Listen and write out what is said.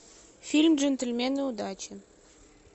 фильм джентльмены удачи